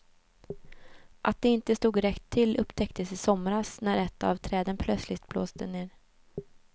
Att det inte stod rätt till upptäcktes i somras, när ett av träden plötsligt blåste ner.